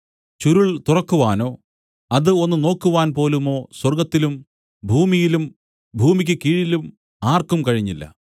ചുരുൾ തുറക്കുവാനോ അത് ഒന്ന് നോക്കുവാൻ പോലുമോ സ്വർഗ്ഗത്തിലും ഭൂമിയിലും ഭൂമിക്കു കീഴിലും ആർക്കും കഴിഞ്ഞില്ല